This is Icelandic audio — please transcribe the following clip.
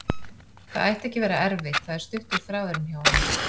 Það ætti ekki að vera erfitt, það er stuttur þráðurinn hjá honum.